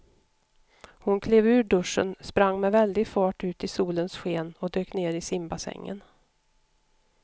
Hon klev ur duschen, sprang med väldig fart ut i solens sken och dök ner i simbassängen.